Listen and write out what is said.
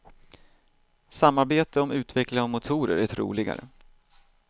Samarbete om utveckling av motorer troligare.